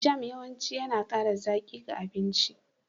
Jam yawanci yana ƙara zaƙi ga abinci.